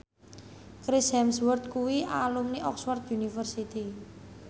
Chris Hemsworth kuwi alumni Oxford university